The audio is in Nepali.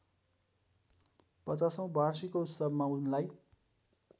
पचासौँ वाषिर्कोत्सवमा उनलाई